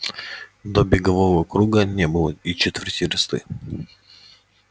до бегового круга не было и четверти версты